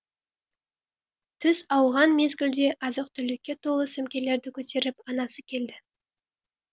түс ауған мезгілде азық түлікке толы сөмкелерді көтеріп анасы келді